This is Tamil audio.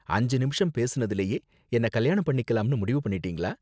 அஞ்சு நிமிஷம் பேசுனதிலேயே என்ன கல்யாணம் பண்ணிக்கலாம்னு முடிவு பண்ணிட்டீங்களா